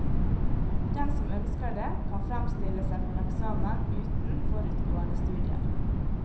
Den som ønsker det, kan fremstille seg for eksamen uten forutgående studier.